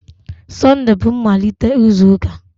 Sunday bú mmalite izu ụka.